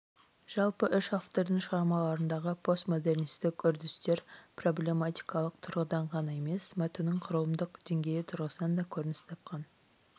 жалпы үш автордың шығармаларындағы постмодернистік үрдістер проблематикалық тұрғыдан ғана емес мәтіннің құрылымдық деңгейі тұрғысынан да көрініс тапқан